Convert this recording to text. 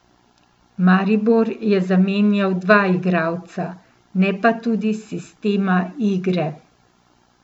Maribor je zamenjal dva igralca, ne pa tudi sistema igre.